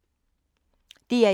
DR1